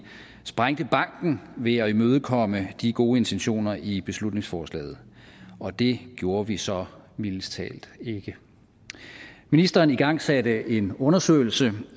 sprængte banken ved at imødekomme de gode intentioner i beslutningsforslaget og det gjorde vi så mildest talt ikke ministeren igangsatte en undersøgelse